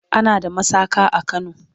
ana da masaka a kano